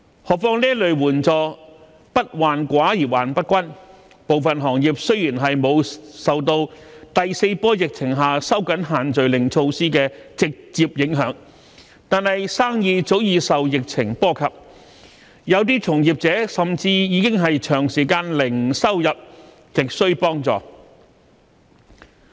何況這類援助"不患寡而患不均"，部分行業雖然沒有受到第四波疫情下收緊限聚令措施的直接影響，但生意早已受疫情波及，有些從業者甚至已是長時間零收入，亟需幫助。